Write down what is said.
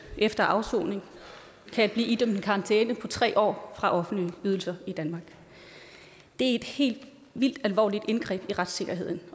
efter afsoning kan blive idømt en karantæne på tre år fra offentlige ydelser i danmark det er et helt vildt alvorligt indgreb i retssikkerheden